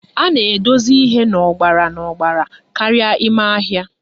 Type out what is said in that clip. A na-edosi ihe n'ọgbara n'ọgbara karịa ime ahịa